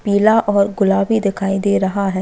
पीला और गुलाबी दिखाई दे रहा है।